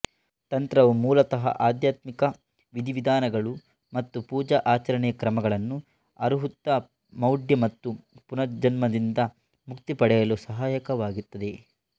ತಂತ್ರವು ಮೂಲತಃ ಆಧ್ಯಾತ್ಮಿಕ ವಿಧಿವಿಧಾನಗಳು ಮತ್ತು ಪೂಜಾ ಆಚರಣೆಯ ಕ್ರಮಗಳನ್ನು ಅರುಹುತ್ತಾ ಮೌಢ್ಯ ಮತ್ತು ಪುನರ್ಜನ್ಮದಿಂದ ಮುಕ್ತಿ ಪಡೆಯಲು ಸಹಾಯಕವಾಗುತ್ತದೆ